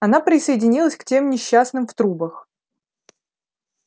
она присоединилась к тем несчастным в трубах